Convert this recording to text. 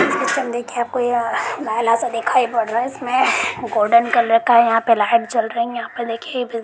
दिखाई सा दिखाई पड़ रहा है इसमें गोल्डेन कलर का यहाँ पे लाइट जल रहा है यहाँ पे देखिये--